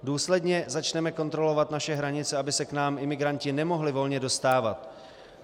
Důsledně začneme kontrolovat naše hranice, aby se k nám imigranti nemohli volně dostávat.